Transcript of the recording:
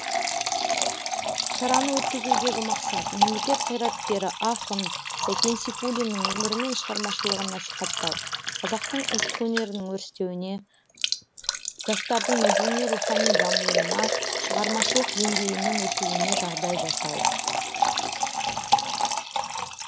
шараны өткізудегі мақсат мемлекет қайраткері ақын сәкен сейфуллиннің өмірі мен шығармашылығын насихаттау қазақтың ұлттық өнерінің өрістеуіне жастардың мәдени рухани дамуына шығармашылық деңгейінің өсуіне жағдай жасау